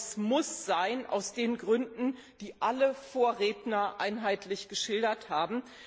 Aber es muss sein aus den Gründen, die alle Vorredner einheitlich geschildert haben.